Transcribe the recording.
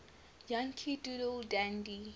yankee doodle dandy